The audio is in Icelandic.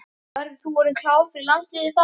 Verður þú orðinn klár fyrir landsliðið þá?